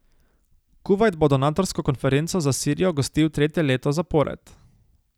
Kuvajt bo donatorsko konferenco za Sirijo gostil tretje leto zapored.